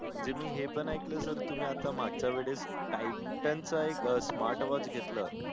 म्हणजे मी हे पण ऐकलं sir आता मागच्या वेळेस titan चा smart watch घेतलं